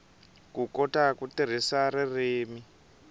ku kota ku tirhisa ririmi